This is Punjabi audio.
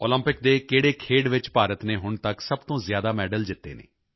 ਓਲੰਪਿਕ ਦੇ ਕਿਹੜੇ ਖੇਡ ਵਿੱਚ ਭਾਰਤ ਨੇ ਹੁਣ ਤੱਕ ਸਭ ਤੋਂ ਜ਼ਿਆਦਾ ਮੈਡਲ ਜਿੱਤੇ ਹਨ